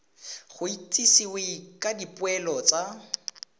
go itsisiwe ka dipoelo tsa